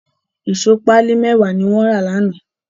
Ìṣó pálí mẹ́wàá ni wọ́n rà lánàá.